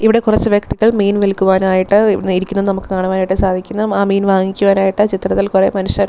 ഇവിടെ കുറച്ച് വ്യക്തികൾ മീൻ വിൽക്കുവാനായിട്ട് ഇവിട് ഇരിക്കുന്നത് നമുക്ക് കാണുവാൻ ആയിട്ട് സാധിക്കുന്നു ആ മീൻ വാങ്ങിക്കുവാൻ ആയിട്ട് ചിത്രത്തിൽ കൊറെ മനുഷ്യർ--